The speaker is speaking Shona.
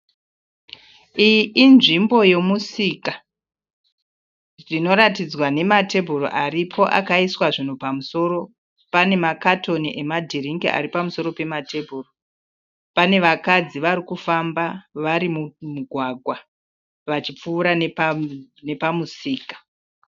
Iyi inzvimbo yomusika inoratidzwa nematebhuru aripo akaiswa zvinhu pamusoro. Pane makatoni emadhiringi ari pamusoro pematebhuru. Pane vakadzi vari kufamba vari mumugwagwa vachipfuura nepamusika.